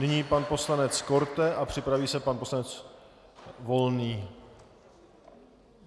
Nyní pan poslanec Korte a připraví se pan poslanec Volný.